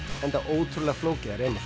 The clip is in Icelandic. enda ótrúlega flókið að reima